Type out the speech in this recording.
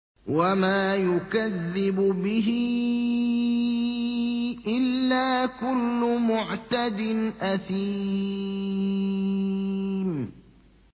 وَمَا يُكَذِّبُ بِهِ إِلَّا كُلُّ مُعْتَدٍ أَثِيمٍ